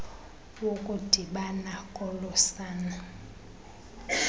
wokudibana kolo sana